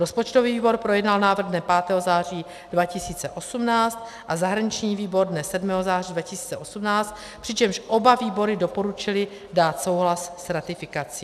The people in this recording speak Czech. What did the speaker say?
Rozpočtový výbor projednal návrh dne 5. září 2018 a zahraniční výbor dne 7. září 2018, přičemž oba výbory doporučily dát souhlas s ratifikací.